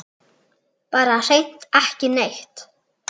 Bara hreint ekki neitt.